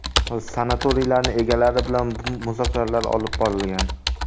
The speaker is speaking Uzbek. Sanatoriylarning egalari bilan muzokaralar olib borilgan.